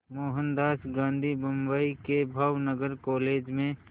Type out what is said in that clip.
मोहनदास गांधी बम्बई के भावनगर कॉलेज में